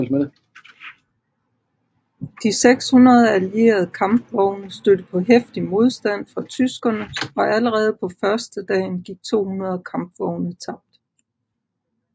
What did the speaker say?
De 600 allierede kampvogne stødte på heftig modstand fra tyskerne og allerede på førstedagen gik 200 kampvogne tabt